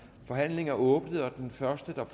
forhandlingen er åbnet og den første der